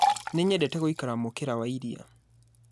Nĩ nyendete gũikara mukĩra wa iria